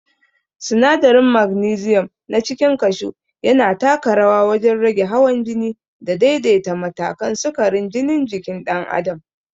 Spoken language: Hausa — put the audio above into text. Sinadarin magnesium na cikin kashu yana taka rawa wajen rage hawan jini da daidaita matakan sukarin jinin jikin dan'adam.